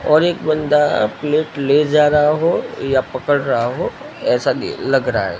और एक बंदा प्लेट ले जा रहा हो या पकड रहा हो ऐसा के लग रहा है।